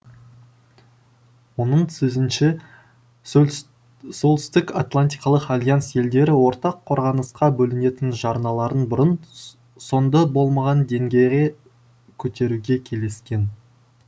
оның сөзінше солтүстік атлантикалық альянс елдері ортақ қорғанысқа бөлінетін жарналарын бұрын соңды болмаған деңгейге көтеруге келіскен